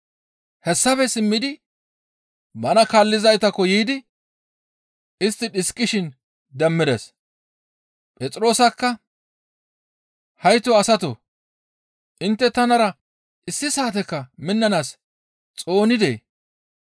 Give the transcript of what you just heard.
Hessafe simmidi bana kaallizaytakko yiidi istti dhiskishin demmides. Phexroosakka, «Hayto asatoo! Intte tanara issi saatekka minnanaas xoonidee?